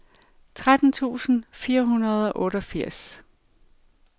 tretten tusind fire hundrede og otteogfirs